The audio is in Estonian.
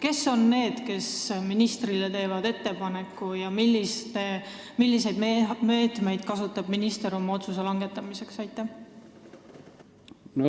Kes on need, kes ministrile ettepaneku teevad, ja milliseid meetmeid kasutab minister oma otsuse langetamiseks?